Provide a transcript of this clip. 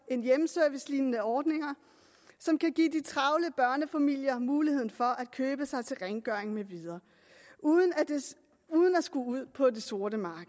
hjemmeservicelignende ordninger som kan give de travle børnefamilier muligheden for at købe sig til rengøring med videre uden at skulle ud på det sorte marked